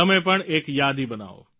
તમે પણ એક યાદી બનાવો